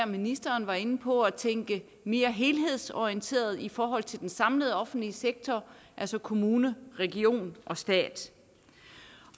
ministeren var inde på at tænke mere helhedsorienteret i forhold til den samlede offentlige sektor altså kommune region og stat